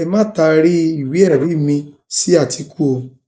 ẹ má taari ìwéẹrí mi sí àtìkù o